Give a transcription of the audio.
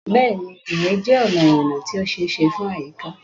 Bẹ́ẹ̀ni, ìrìn jẹ́ ọ̀nà ìrìnnà tí ó ṣe é ṣe fún àyíká.